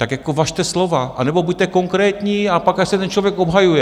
Tak jako važte slova, anebo buďte konkrétní a pak ať se ten člověk obhajuje.